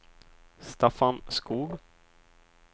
Staffan Skoog